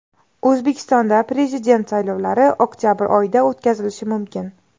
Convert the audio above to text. O‘zbekistonda Prezident saylovlari oktabr oyida o‘tkazilishi mumkin.